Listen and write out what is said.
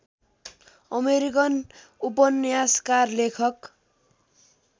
American उपन्यासकार लेखक